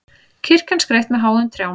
Kirkjan skreytt með háum trjám